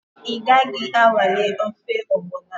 Ị gaghị anwale ofe ọgbọnọ a?